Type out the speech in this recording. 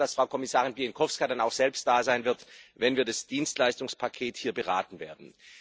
Ich bin mir sicher, dass Frau Kommissarin Bieńkowska dann auch selbst da sein wird, wenn wir das Dienstleistungspaket hier beraten werden.